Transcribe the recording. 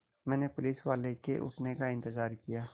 मैंने पुलिसवाले के उठने का इन्तज़ार किया